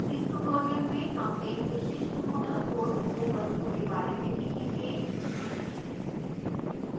इस tutorial में हम एक विशिष्ट moodle course overview के बारे में सीखेंगे